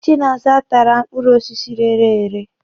Chinaza tàrà mkpọrọ osisi rērē èrē.